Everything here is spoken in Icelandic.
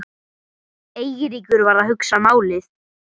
Eiríkur var að hugsa málið.